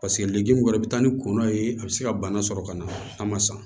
Paseke libi wɛrɛ bɛ taa ni kɔnɔn ye a bɛ se ka bana sɔrɔ ka na a ma san